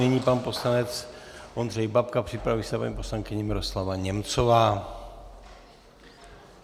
Nyní pan poslanec Ondřej Babka, připraví se paní poslankyně Miroslava Němcová.